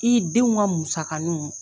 I denw ka musakaninw